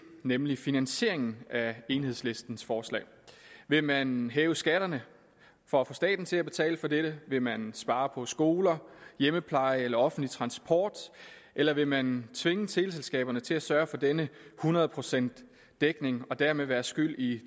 nemlig finansieringen af enhedslistens forslag vil man hæve skatterne for at få staten til at betale for dette vil man spare på skoler hjemmepleje eller offentlig transport eller vil man tvinge teleselskaberne til at sørge for denne hundrede procent dækning og dermed være skyld i